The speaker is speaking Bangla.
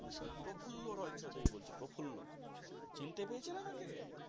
আহ প্রফুল্ল রয় চৌধুরী বলছি প্রফুল্ল চিনতে পেয়েছে আমাকে.